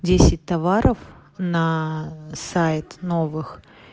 десять товаров на сайт новых